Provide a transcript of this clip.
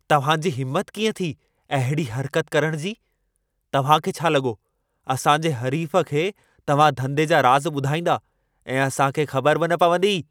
तव्हां जी हिमत कीअं थी, अहिड़ी हरकत करण जी? तव्हां खे छा लॻो असां जे हरीफ़ खे तव्हां धंधे जा राज़ ॿुधाईंदा ऐं असां खे ख़बर बि न पवंदी?